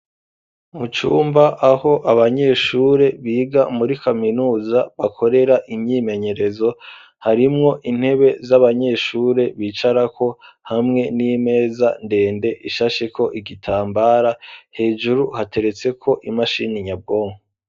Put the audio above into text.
Mu cumba aho abanyeshure biga muri kaminuza bakorera imyimenyerezo harimwo intebe z'abanyeshure bicara ko hamwe n'imeza ndende ishashe ko igitambara hejuru hateretse ko imashini nyabwongo